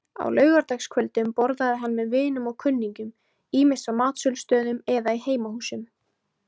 Á laugardagskvöldum borðaði hann með vinum og kunningjum, ýmist á matsölustöðum eða í heimahúsum.